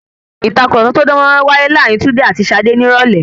Ìtàkurọ̀sọ tó dán mọ́rán máa wáyé láàárín Túndé àti Ṣadé ní irọ̀lẹ́.